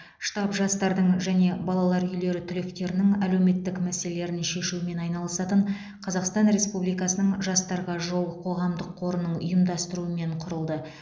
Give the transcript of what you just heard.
штаб жастардың және балалар үйлері түлектерінің әлеуметтік мәселелерін шешумен айналысатын қазақстан республикасының жастарға жол қоғамдық қорының ұйымдастырумен құрылды